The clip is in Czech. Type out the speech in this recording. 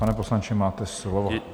Pane poslanče, máte slovo.